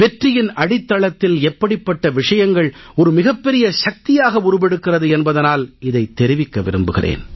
வெற்றியின் அடித்தளத்தில் எப்படிப்பட்ட விஷயங்கள் ஒரு மிகப் பெரிய சக்தியாக உருவெடுக்கிறது என்பதனால் இதைத் தெரிவிக்க விரும்புகிறேன்